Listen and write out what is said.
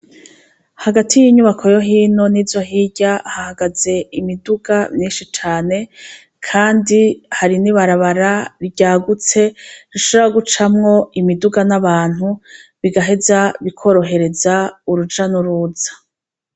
Hagati y' inyubako yo hino nizo hirya hahagaze imiduga myinshi cane, kandi hari n' ibarabara ryagutse, rishobora gucamwo imiduga n'abantu, bigaheza bikorohereza uruja n' uruza.